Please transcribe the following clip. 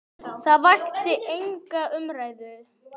Það vakti enga umræðu hér.